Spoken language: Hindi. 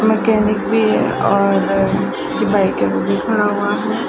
मैकेनिक भी और ये बाइक अभी भी खड़ा हुआ है।